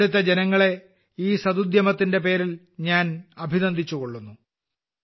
ഇവിടത്തെ ആളുകളെ ഈ സദുദ്യമത്തിന്റെ പേരിൽ ഞാൻ അഭിനന്ദിച്ചുകൊള്ളുന്നു